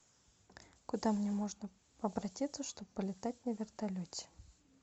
куда мне можно обратиться чтобы полетать на вертолете